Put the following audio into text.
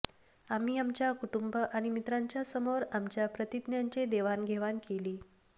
आम्ही आमच्या कुटुंब आणि मित्रांच्या समोर आमच्या प्रतिज्ञांचे देवाणघेवाण केली